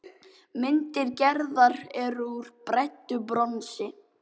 Myndir Gerðar eru úr bræddu bronsi.